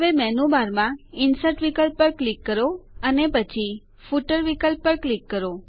હવે મેનૂ બારમાં ઇન્સર્ટ વિકલ્પ પર ક્લિક કરો અને પછી ફૂટર વિકલ્પ પર ક્લિક કરો